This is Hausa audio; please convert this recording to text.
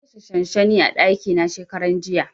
Na kashe shanshani a ɗaki na shekaran jiya.